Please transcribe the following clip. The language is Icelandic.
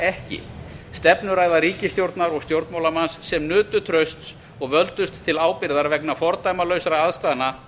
ekki stefnuræða ríkisstjórnar og stjórnmálamanns sem nutu trausts og völdust til ábyrgðar vegna fordæmalausra aðstæðna